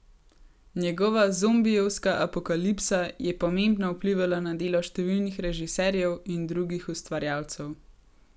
Njegova zombijevska apokalipsa je pomembno vplivala na delo številnih režiserjev in drugih ustvarjalcev.